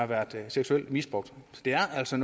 været seksuelt misbrugt så det er altså